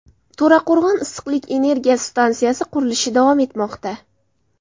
To‘raqo‘rg‘on issiqlik elektr stansiyasi qurilishi davom etmoqda.